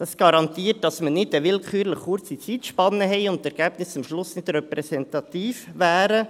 Das garantiert, dass wir nicht eine willkürlich kurze Zeitspanne haben und die Ergebnisse am Schluss nicht repräsentativ wären.